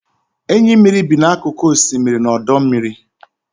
Enyi mmiri bi n'akụkụ osimiri na ọdọ mmiri.